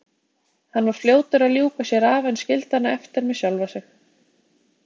Hann var fljótur að ljúka sér af en skildi hana eftir með sjálfa sig.